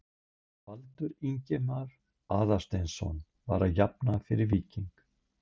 Baldur Ingimar Aðalsteinsson var að jafna fyrir Víking.